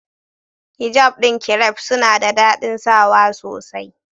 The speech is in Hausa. Hijab ɗin kiref suna da daɗin sawa sosai.